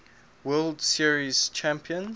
world series champions